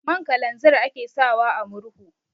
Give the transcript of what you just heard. Man kalanzir ake sawa a murhu.